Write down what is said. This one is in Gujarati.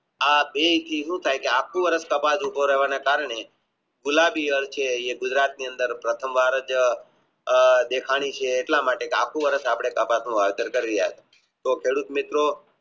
આ બે થી સુ થાય કે આખું વર્ષ કપાસ ઉભો રહેવા ના કારણે ગુલાબી રંગ છે એ આખું વર્ષ કપાસ નું હાજર કરી રહ્યા છે તો ખેડૂત મિત્રો